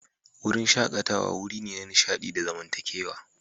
Wurin shakatawa wuri ne na nishaɗi da zamantakewa.